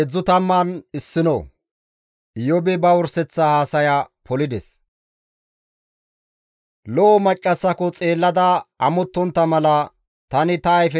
«Lo7o maccassako xeellada amottontta mala; tani ta ayfetara caaqo geladis.